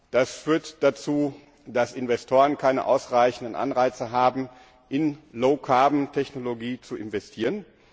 Das führt dazu, dass Investoren keine ausreichenden Anreize haben, in Low carbon Technologie zu investieren.